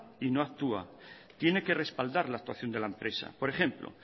y no actúa tiene que respaldar la actuación de la empresa por ejemplo